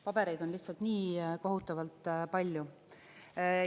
Pabereid on lihtsalt nii kohutavalt palju.